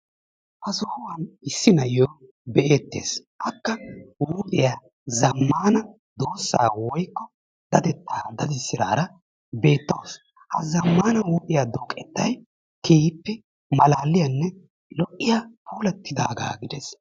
Ha sohuwan issi na'iyo be'ettes. Akka huuphiya zammaana doosaa woykko dadettaa dadisidaara beettawus. Ha zammaana huuphiya dooqettay keehippe malaaliyanne lo"iya puulattidaagaa gides.